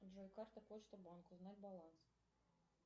джой карта почта банк узнать баланс